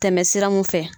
Tɛmɛ sira mun fɛ